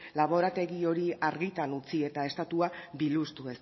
laborategi hori argitan utzi eta estatua biluztu